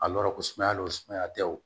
A yɔrɔ ko sumaya lo sumaya tɛ o